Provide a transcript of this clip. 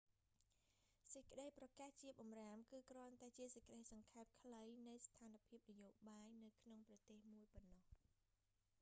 សេចក្តីប្រកាសជាបម្រាមគឺគ្រាន់តែជាសេចក្តីសង្ខេបខ្លីនៃស្ថានភាពនយោបាយនៅក្នុងប្រទេសមួយប៉ុណ្ណោះ